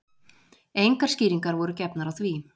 Engar skýringar voru gefnar á því